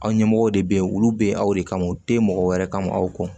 Aw ɲɛmɔgɔw de bɛ ye olu bɛ aw de kama te mɔgɔ wɛrɛ kama aw kɔ